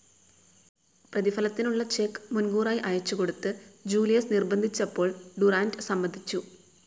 പ്രതിഫലത്തിനുള്ള cheque മുൻകൂറായി അയച്ചുകൊടുത്ത് Julius നിർബ്ബന്ധിച്ചപ്പോൾ ഡുറാന്റ് സമ്മതിച്ചു.